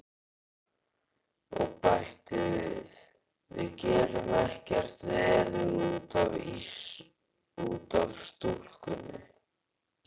Og bætti við: Við gerum ekkert veður út af stúlkunni.